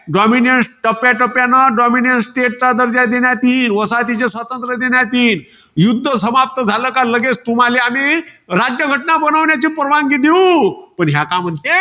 Dominiance टप्याटप्यान dominiance state चा दर्जा देण्यात येईन. वसाहतीचे स्वातंत्र्य देण्यात येईल. युध्द समाप्त झालं का लगेच तुम्हाले आम्ही, राज्यघटना बनवण्याची परवानगी देऊ. पण ह्या का म्हणते?